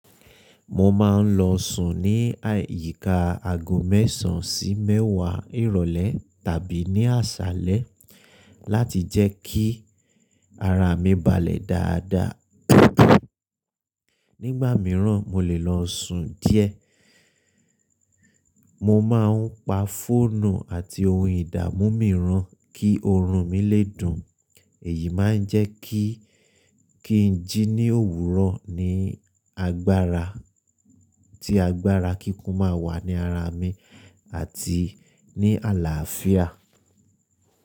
Mo máa ń lọ sùn ní àyíká aago mẹ́sàn sí mẹ́wàá ìrọ̀lẹ́ tàbí ní àṣálẹ́ láti jẹ́ kí ara mi balẹ̀ dáadáa. Nígbà mìíràn, mo lè lọ sùn díẹ̀. Mo má ń pa fóònù àti ohun ìdámu mìíràn kí oorun mi lè dùn. Èyí máa ń jẹ́ kí kí n jí ní òwúrọ̀ ní agbára tí agbára kíkún máa wà ní ara mi àti ní àlàáfíà.